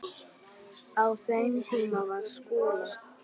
Á þeim tíma var Skúla